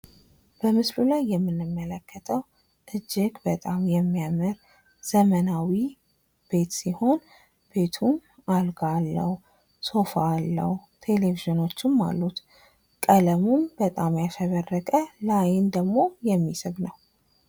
በምስሉ ላይ የምንመለከተው እጅግ በጣም የሚያምር ዘመናዊ ቤት ሲሆን ቤቱም አልጋ አለው፣ ሶፋ አለው፣ ቴሌቭዥኖችም አሉት። ቀለሙም በጣም ያሸበረቀ ለአይን ደግሞ የሚስብ ነው።